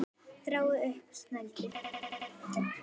Var þetta brot?